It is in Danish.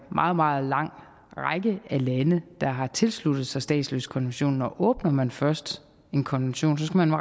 meget meget lang række af lande der har tilsluttet sig statsløsekonventionen og åbner man først en konvention skal man